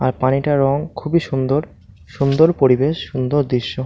আর পানিটার রং খুবই সুন্দর সুন্দর পরিবেশ সুন্দর দৃশ্য।